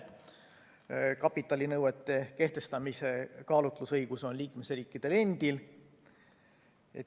Kapitalinõuete kehtestamisel on kaalutlusõigus liikmesriikidel endil.